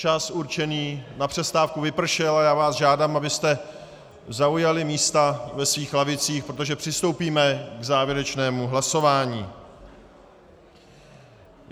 Čas určený na přestávku vypršel a já vás žádám, abyste zaujali místa ve svých lavicích, protože přistoupíme k závěrečnému hlasování.